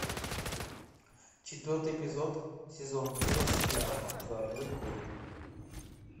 четвертый эпизод сезон шесть сериал золотой город